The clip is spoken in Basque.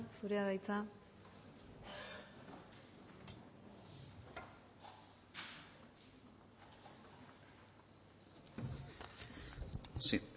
zurea da hitza sí